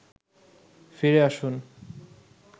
ফিরে আসুন